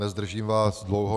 Nezdržím vás dlouho.